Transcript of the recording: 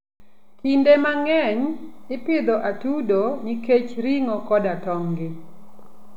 Kinde mang'eny, ipidho atudo nikech ring'o koda tong'gi.